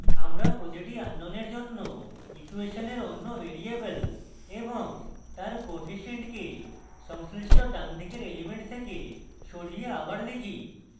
আমরা প্রতিটি আননোনের জন্য ইকুয়েশনের অন্য ভ্যারিয়েবল এবং তার কোএফিসিয়েন্টকে সংশ্লিষ্ট ডানদিকের এলিমেন্ট থেকে সরিয়ে আবার লিখি